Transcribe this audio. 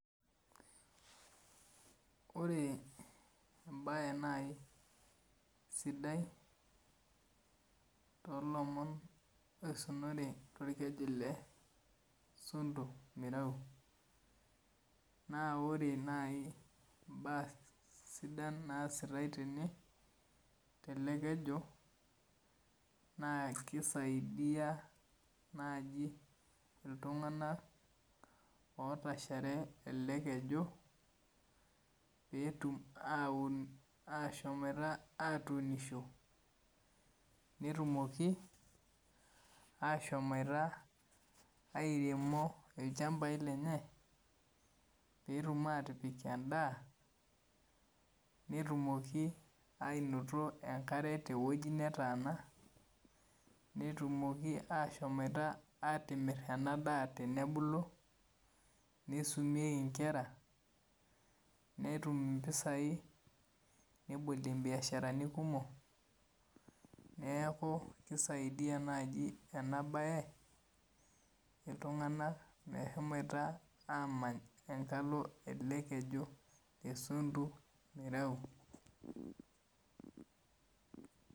ORe imbaye nai sidai to lomon oisunore to orkeju le sondu mirui, naa ore naii imbaa sidan naasitae tene tene te ale orkeju naa keisaidia naaji iltungana oota isheree ale keju peetum aun ashomata atuunisho, netumoki ashomata airemo ilchambai lenyee, peetum aatipik endaa, netumoki anoto enkare teweji netaana, netumoki ashomata aatimir ena daa tenebulu, neisumei inkera, netum impisai, nebolie imbiasharani kumok neaku keisaidia naaji ena baye iltungana meshomaita aamany enkalo ale keju esondu mirau.